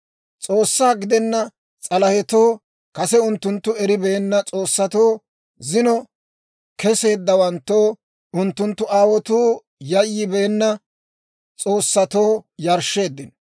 S'oossaa gidenna s'alahetoo, kase unttunttu eribeenna s'oossatoo, zino keseeddawanttoo, unttunttu aawotuu yayyibeenna s'oossatoo yarshsheeddino.